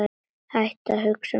Hættu að hugsa um þetta.